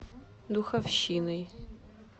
духовщиной